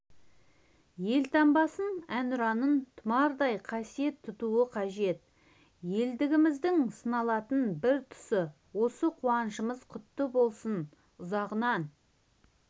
елтаңбасын әнұранын тұмардай қасиет тұтуы қажет елдігіміздің сыналатын бір тұсы осы қуанышымыз құтты болсын ұзағынан